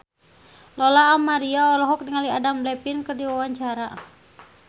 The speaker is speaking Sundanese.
Lola Amaria olohok ningali Adam Levine keur diwawancara